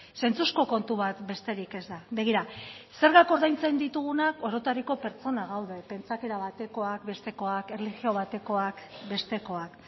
zentzuzko kontu bat besterik ez da begira zergak ordaintzen ditugunak orotariko pertsonak gaude pentsaerak batekoak bestekoak erlijio batekoak bestekoak